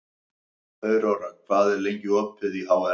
Aurora, hvað er lengi opið í HR?